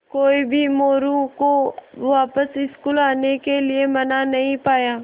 कोई भी मोरू को वापस स्कूल आने के लिये मना नहीं पाया